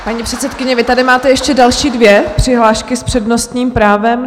Paní předsedkyně, vy tady máte ještě další dvě přihlášky s přednostním právem.